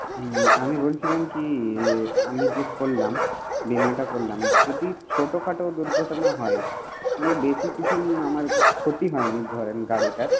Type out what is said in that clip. হুম আমি বলছিলাম কি যে আমি যে করলাম, বীমাটা করলাম যদি ছোট খাটো দুর্ঘটনা হয় মানে বেশি কিছু আমার ক্ষতি হয় নি ধরেন গাড়িটার